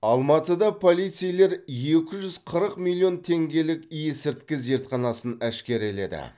алматыда полицейлер екі жүз қырық миллион теңгелік есірткі зертханасын әшкереледі